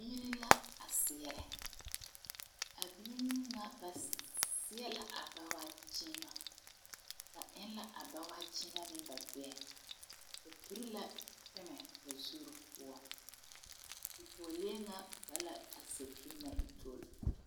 Biire la a seɛrɛ. Ba leŋla bawaa kyiimɛ ba gbɛɛ pʋɔ kyɛ leŋ pɛmɛ ba zure pʋɔ.